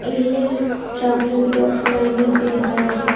ಇಲ್ಲಿ chocolate box ಗಳನ್ನು ಇಟ್ಟಿದ್ದಾರೆ.